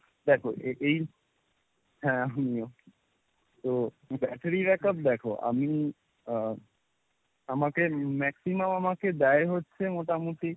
দেখো এ~ এই হ্যাঁ আমিও। তো battery backup দেখো আমি আহ আমাকে maximum আমাকে দেয় হচ্ছে মোটামুটি,